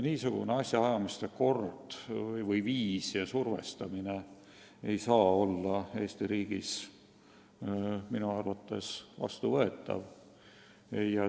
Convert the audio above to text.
Niisugune asjaajamise kord, niisugune survestamine ei saa Eesti riigis minu arvates vastuvõetav olla.